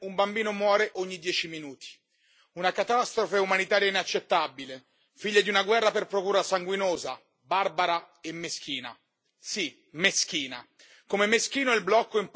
Signor Presidente, onorevoli colleghi, in Yemen un bambino muore ogni dieci minuti. Una catastrofe umanitaria inaccettabile, figlia di una guerra per procura sanguinosa, barbara e meschina.